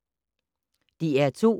DR2